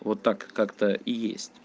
вот так как-то